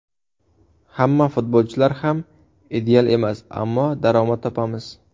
Hamma futbolchilar ham ideal emas, ammo daromad topamiz.